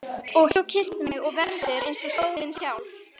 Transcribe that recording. Og þú kysstir mig og vermdir eins og sólin sjálf.